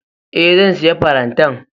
E, zan sayi farantan.